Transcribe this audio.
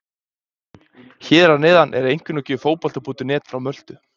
Hér að neðan er einkunnagjöf Fótbolta.net frá Möltu.